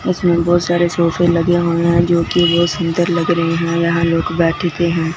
इसमें बहुत सारे सोफे लगे हुए हैं जो कि बहुत सुंदर लग रहे हैं यहां लोग बैठते हैं।